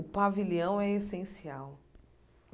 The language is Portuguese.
O pavilhão é essencial.